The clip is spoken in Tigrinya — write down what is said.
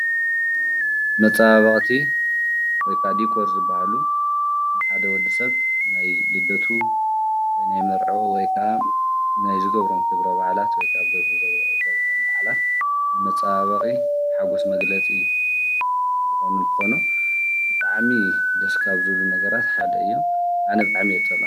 መፃባባቕቲ ወይካ ዲኮር ዝበሃሉ ንሓደ ወዲ ሰብ ናይ ፣ልደቱ፣ ወይ ናይ መርዐኦ፣ ወይካዓ ናይ ዘገብሮም ክብረ ባዓላት ወይካ ኣብ ገጹ ዘብዕሎም መዓላት ንመፃባባቒ ሓጐስ መግለጺ ዝኾኑንተኖ ብጥዓሚ ደስ ካብ ዙሉ ነገራት ሓደ እዮም። ኣነ ጣዕሚ እየዝፀልኦ።